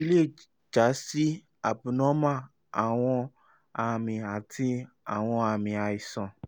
eyi le ja si cs] abnormal awọn ami ati awọn aami aisan